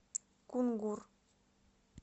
кунгур